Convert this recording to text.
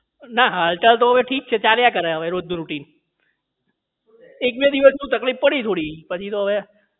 ના હાલ તો અત્યારે ઠીક છે ચાલ્યા કરે રોજ નું routine એક બે દિવસ તકલીફ પડી થોડી પછી તો હવે રોજ નું થઇ ગયું એટલે routine